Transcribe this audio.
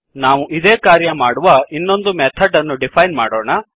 ನಾವು ಇದೇ ಕಾರ್ಯ ಮಾಡುವ ಇನ್ನೊಂದು ಮೆಥಡ್ ಅನ್ನು ಡಿಫೈನ್ ಮಾಡೋಣ